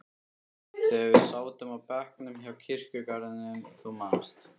þegar við sátum á bekknum hjá kirkjugarðinum, þú manst.